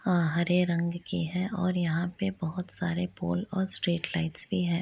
हरे रंग की है और यहाँ पे बोहोत सारे पोल और स्ट्रीट लाईटस भी है।